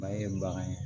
Mali ye bagan ye